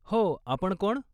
हो, आपण कोण?